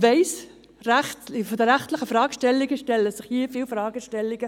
Ich weiss, von der rechtlichen Seite stellen sich hier viele Fragestellungen.